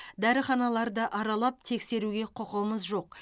дәріханаларды аралап тексеруге құқымыз жоқ